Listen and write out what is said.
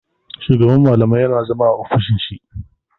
Shugaban malamai yana zama a ofishin shi.